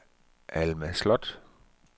Alma Slot